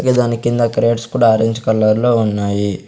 ఇక దాని కింద గ్రేడ్స్ కూడా ఆరెంజ్ కలర్ లో ఉన్నాయి.